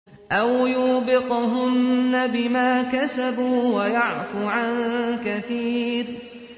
أَوْ يُوبِقْهُنَّ بِمَا كَسَبُوا وَيَعْفُ عَن كَثِيرٍ